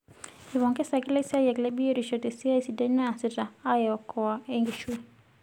Eipongesaki laisiyiak le biotisho tesiai sidai naasita aaokoa enkishui.